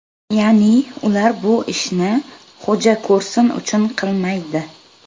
Ya’ni, ular bu ishni xo‘ja ko‘rsin uchun qilmaydi.